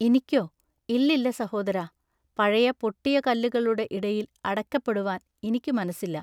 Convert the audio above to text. ഇനിക്കൊ? ഇല്ലില്ല സഹോദരാ ൟ പഴയപൊട്ടിയ കല്ലുകളുടെ ഇടയിൽ അടക്കപ്പെടുവാൻ ഇനിക്കു മനസ്സില്ല.